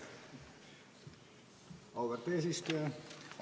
Auväärt eesistuja!